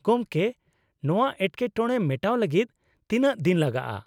ᱜᱚᱢᱠᱮ, ᱱᱚᱶᱟ ᱮᱴᱠᱮᱴᱚᱬᱮ ᱢᱮᱴᱟᱣ ᱞᱟᱹᱜᱤᱫ ᱛᱤᱱᱟᱹᱜ ᱫᱤᱱ ᱞᱟᱜᱟᱜᱼᱟ ᱾